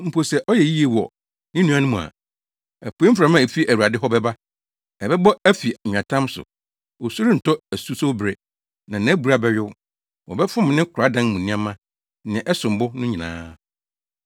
mpo sɛ ɔyɛ yiye wɔ ne nuanom mu a. Apuei mframa a efi Awurade hɔ bɛba, ɛbɛbɔ afi nweatam so; osu rentɔ asusowbere na nʼabura bɛyow. Wɔbɛfom ne koradan mu nneɛma nea ɛsom bo no nyinaa.